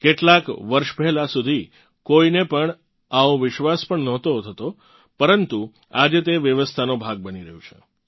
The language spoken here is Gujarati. કેટલાંક વર્ષ પહેલાં સુધી કોઇને પણ આવો વિશ્વાસ પણ નહોતો થતો પરંતુ આજે તે વ્યવસ્થાનો ભાગ બની રહ્યું છે